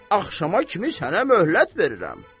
Axşama kimi sənə möhlət verirəm.